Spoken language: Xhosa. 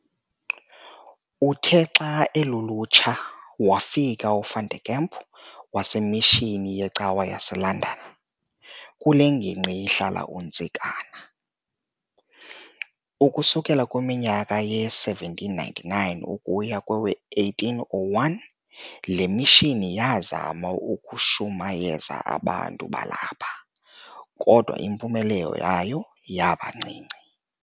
Uthe xa alulutsha, wafika u"Van Der Kemp" wasemishini yecawa yase-"London" kule nginqgi ihlala uNtsikana. Ukusukela kumnyaka we-1799 ukuya kowe-1801, le mishini yaazama ukushumayeza abantu balapha, kodwa impumelelo yayo yabancinci.